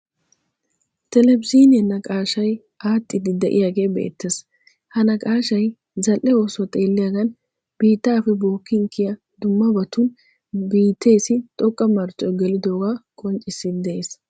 Televizhiiniyan naqaashshay aaxxiiddi de'iyagee beettes. Ha naqaashshay zali'e oosuwaa xeelliyagan biittaappe bookkin kiyiya dummabatun biitteessi xoqqa marccoy gelidooga qonccissiiddi de'ees.